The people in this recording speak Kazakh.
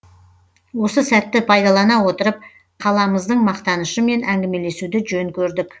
осы сәтті пайдалана отырып қаламыздың мақтанышымен әңгімелесуді жөн көрдік